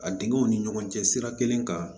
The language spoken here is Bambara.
A dingɛw ni ɲɔgɔn cɛ sira kelen kan